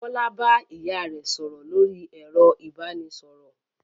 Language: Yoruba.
Bọ́lá bá ìyá rẹ̀ sọ̀rọ̀ lórí ẹ̀rọ ìbanisọ̀rọ̀?